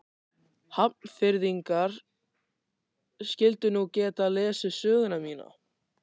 Hafnfirðingar skyldu nú geta lesið söguna mína.